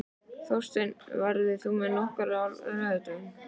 Þórsteinn, ferð þú með okkur á laugardaginn?